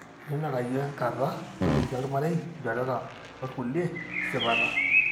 tenenareyu enkata, toliki olmarei, ilchoreta olkulie esipata.